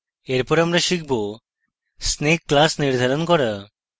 এরপর আমরা শিখব snake class নির্ধারণ করা